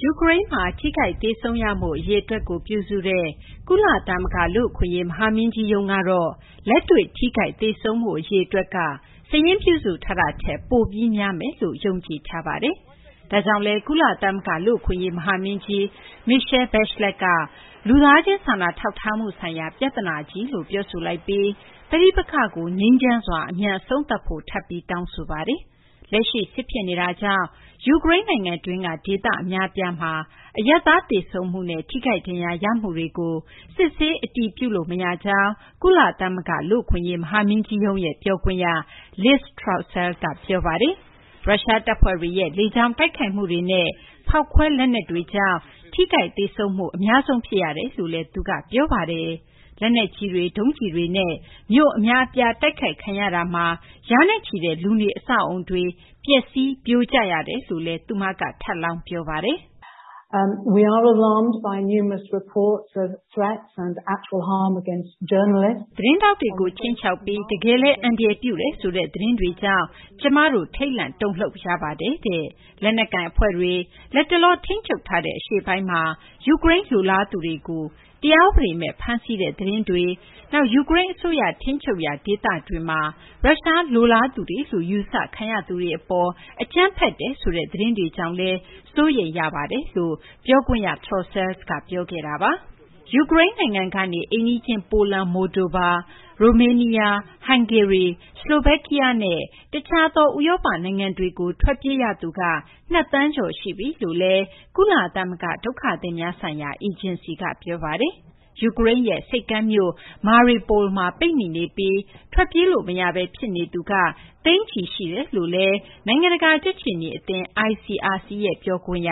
ယူကရိန်းမှာ ထိခိုက်သေဆုံးရမှု အရေအတွက်ကို ပြုစုတဲ့ ကုလသမဂ္ဂ လူ့အခွင့်အရေး မဟာမင်းကြီးရုံး ကတော့ လက်တွေ့ ထိခိုက် သေဆုံးမှု အရေအတွက်က စာရင်းပြုစု ထားတာထက် ပိုပြီး များမယ်လို့ ယုံကြည်ထားပါတယ်။ ဒါကြောင့်လည်း ကုလသမဂ္ဂ လူ့အခွင့်အရေး မဟာမင်းကြီး Michelle Bachelet က လူသားချင်း စာနာထောက်ထားမှု ဆိုင်ရာ ပြဿနာကြီးလို့ ပြောဆိုလိုက်ပြီး ပဋိပက္ခကို ငြိမ်းချမ်းစွာ အမြန် အဆုံးသတ်ဖို့ ထပ်ပြီး တောင်းဆိုပါတယ်။ လက်ရှိ စစ်ဖြစ်နေတာကြောင့် ယူကရိန်း နိုင်ငံတွင်းက ဒေသ အများအပြားမှာ အရပ်သား သေဆုံးမှုနဲ့ ထိခိုက်ဒဏ်ရာ ရမှုတွေကို စစ်ဆေး အတည်ပြုလို့ မရကြောင်း ကုလသမဂ္ဂ လူ့အခွင့်အရေး မဟာမင်းကြီးရဲ့ ပြောခွင့်ရ Liz Throssell က ပြောပါတယ်။ ရုရှား တပ်ဖွဲ့တွေရဲ့ လေကြောင်း တိုက်ခိုက်မှုတွေနဲ့ ဖောက်ခွဲ လက်နက်တွေကြောင့် ထိခိုက် သေဆုံးမှု အများဆုံး ဖြစ်ရကြောင်းလည်း သူက ပြောပါတယ်။ လက်နက်ကြီးတွေ၊ ဒုံးကျည်တွေနဲ့ မြို့ အများအပြား တိုက်ခိုက်ခံရတာမှာ ရာနဲ့ချီတဲ့ လူနေအဆောက်အအုံတွေ ပျက်စီး ပြိုကျရတယ်လို့လည်း သူမက ပြောပါတယ်။ “ သတင်းထောက်တွေကို ခြိမ်းခြောက်ပြီး တကယ်လည်း အန္တရာယ်ပြုတယ်ဆိုတဲ့ သတင်းတွေကြောင့် ကျမတို့ ထိတ်လန့်တုန်လှုပ်ရပါတယ်။ လက်နက်ကိုင် အဖွဲ့တွေ လတ်တလော ထိန်းချုပ်ထားတဲ့ အရှေ့ပိုင်းမှာ ယူကရိန်းလိုလားသူတွေကို တရားဥပဒေမဲ့ ဖမ်းဆီးတဲ့ သတင်းတွေ၊ နောက် ယူကရိန်း အစိုးရ ထိန်းချုပ်ရာ ဒေသတွေမှာ ရုရှား လိုလားသူတွေလို့ ယူဆခံရသူတွေ အပေါ် အကြမ်းဖက်တယ်ဆိုတဲ့ သတင်းတွေကြောင့်လည်း ကျမတို့ စိုးရိမ်ရပါတယ်။” ယူကရိန်း နိုင်ငံကနေ အိမ်နီးချင်း ပိုလန်၊ မိုလ်ဒိုဗာ၊ ရိုမေးနီးယား၊ ဟန်ဂေရီ၊ ဆလိုဗက်ကီးယားနဲ့ တခြားသော ဥရောပ နိုင်ငံတွေကို ထွက်ပြေး ရသူက နှစ်သန်းကျော် ရှိပြီလို့လည်း ကုလသမဂ္ဂ ဒုက္ခသည်များဆိုင်ရာ အေဂျင်စီက ပြောပါတယ်။ ယူကရိန်းရဲ့ ဆိပ်ကမ်းမြို့ Mariupol မှာ ပိတ်မိနေပြီး ထွက်ပြေးလို့ မရဘဲ ဖြစ်နေသူက သိန်းချီရှိနေတယ်လို့လည်း နိုင်ငံတကာ ကြက်ခြေနီ အသင်း ICRC ရဲ့ ပြောခွင့်ရ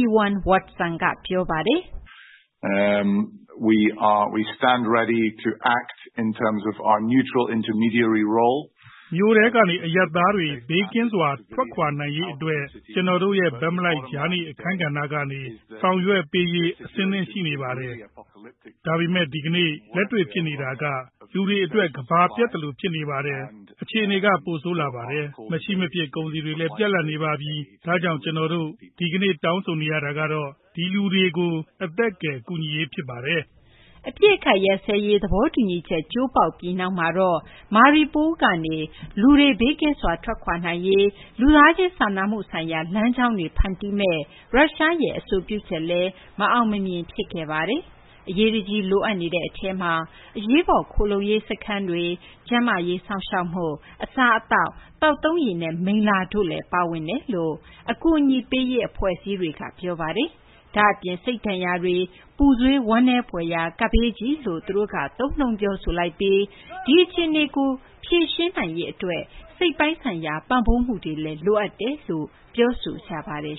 Ewan Watson က ပြောပါတယ်။ “ မြို့ထဲကနေ အရပ်သားတွေ ဘေးကင်းစွာ ထွက်ခွာနိုင်ရေးကို အတွက် ကျနော်တို့ရဲ့ ဘက်မလိုက် ကြားနေ အခန်းကဏ္ဍကနေ ဆောင်ရွက်ပေးရေး အဆင်သင့် ရှိနေပါတယ်။ ဒါပေမယ့် ဒီကနေ့ လက်တွေ့ ဖြစ်နေတာက လူတွေ အတွက် ကမ္ဘာပျက်သလို ဖြစ်နေပါတယ်။ အခြေအနေက ပိုဆိုးလာပါတယ်။ မရှိ မဖြစ် ကုန်စည်တွေလည်း ပြတ်လပ်နေပါပြီ။ ဒါကြောင့် ကျနော်တို့ ဒီကနေ့ တောင်းဆိုနေတာကတော့ ဒီလူတွေကို အသက်ကယ် ကူညီရေး ဖြစ်ပါတယ်။” အပစ်အခတ် ရပ်စဲရေး သဘောတူညီချက် ကျိုးပေါက်ပြီး နောက်မှာတော့ Mariupol ကနေ လူတွေ ဘေးကင်းစွာ ထွက်ခွာနိုင်ရေး အတွက် လူသားချင်းစာနာမှုဆိုင်ရာ လမ်းကြောင်းတွေ ဖန်တီးမယ့် ရုရှားရဲ့ အဆိုပြုချက်လည်း မအောင်မမြင် ဖြစ်ခဲ့ပါတယ်။ အရေးတကြီး လိုအပ်နေတဲ့ အထဲမှာ အရေးပေါ် ခိုလှုံရေးစခန်း၊ ကျန်းမာရေး စောင့်ရှောက်မှု၊ အစားအသောက်၊ သောက်သုံးရေနဲ့ မိလ္လာ တို့လည်း ပါဝင်ကြောင်း အကူအညီပေးရေး အဖွဲ့အစည်းတွေက ပြောပါတယ်။ ဒါ့အပြင် စိတ်ဒဏ်ရာတွေ၊ ပူဆွေး ဝမ်းနည်းဖွယ်ရာ ကပ်ဘေးကြီးလို့လည်း သူတို့က သုံးနှုန်း ပြောဆိုလိုက်ပြီး ဒီအခြေအနေကို ဖြေရှင်းနိုင်ရေး အတွက် စိတ်ပိုင်းဆိုင်ရာ ပံ့ပိုးမှုတွေလည်း လိုအပ်တယ်လို့လည်း ပြောဆိုကြပါတယ်